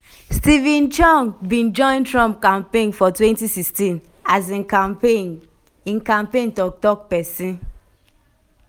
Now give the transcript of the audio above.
steven cheung bin join trump campaign for 2016 as im campaign im campaign tok-tok pesin.